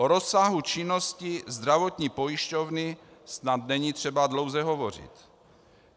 O rozsahu činnosti zdravotní pojišťovny snad není třeba dlouze hovořit.